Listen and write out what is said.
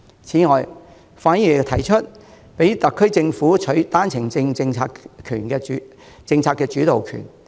此外，范議員又提出讓特區政府取回單程證政策的主導權。